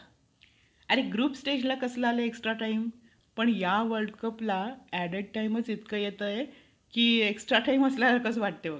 अरे group stageला कसलं आलाय extra time पण या would cup ला update time च इतकं येतंय कि extra time असल्यासारखं वाटते बघ.